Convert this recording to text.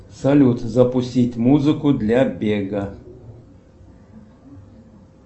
салют запустить музыку для бега